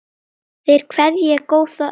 Þeir kveðja góða ömmu.